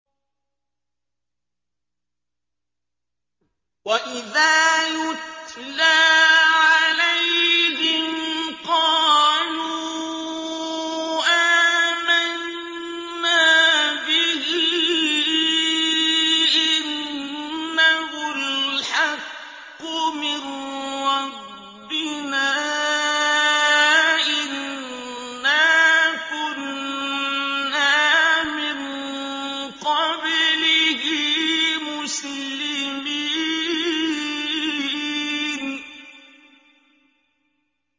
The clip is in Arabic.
وَإِذَا يُتْلَىٰ عَلَيْهِمْ قَالُوا آمَنَّا بِهِ إِنَّهُ الْحَقُّ مِن رَّبِّنَا إِنَّا كُنَّا مِن قَبْلِهِ مُسْلِمِينَ